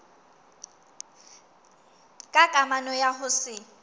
ka kamano ya ho se